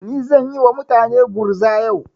Ni zan yi wa mutane gurza yau.